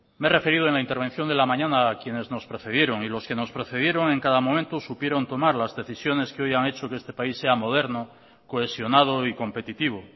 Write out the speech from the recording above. me he referido en la intervención de la mañana a quienes nos precedieron y los que nos precedieron en cada momento supieron tomar las decisiones que hoy han hecho que este país sea moderno cohesionado y competitivo